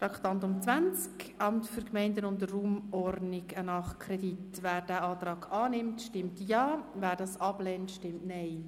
Wer diesen Nachkredit für das Amt für Gemeinden und Raumordnung (AGR) annehmen will, stimmt Ja, wer dies ablehnt, stimmt Nein.